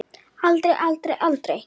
Aldrei, aldrei, aldrei!